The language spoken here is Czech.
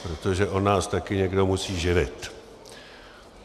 Protože on nás taky někdo musí živit.